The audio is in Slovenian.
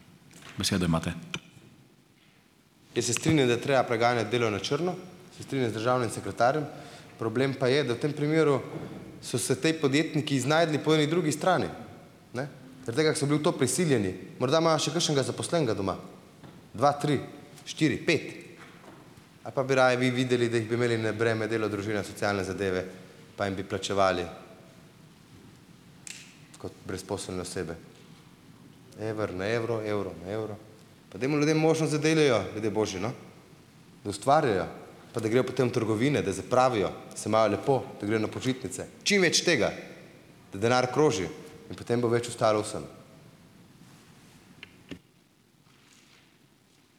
Jaz se strinjam, da je treba preganjati delo na črno. Se strinjam z državnim sekretarjem. Problem pa je, da v tem primeru so se ti podjetniki znašli po eni drugi strani. Ne. Zaradi tega, ker so bili v to prisiljeni. Morda imajo še kakšnega zaposlenega doma, dva, tri, štiri, pet. A pa bi raje vi videli, da jih bi imeli na breme delo, družina, socialne zadeve, pa jim bi plačevali, kot brezposelne osebe. Evro na evro, evro na evro. Pa dajmo ljudem možnost, da delajo, ljudje božji, no, da ustvarjajo, pa da grejo potem v trgovine, da zapravijo, se imajo lepo, da grejo na počitnice. Čim več tega. Da denar kroži. In potem bo več ostalo vsem.